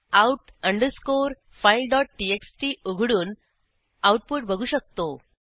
out underscore fileटीएक्सटी उघडून output बघू शकतो